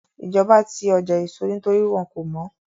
Ìjọba ti ọjà èso nítorí wọ́n kò mọ́